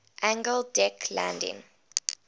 angled deck landing